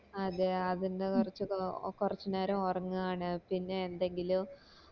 അതെ അതിന്റെ കൊറച്ച് കൊറച്ച് നേരം ഒരാങ്ങു ആണ് പിന്നെ എന്തെങ്കിലും